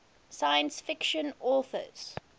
science fiction authors